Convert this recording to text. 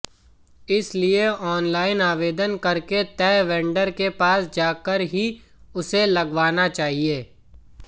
इसलिए ऑनलाइन आवेदन करके तय वेंडर के पास जाकर ही उसे लगवाना चाहिए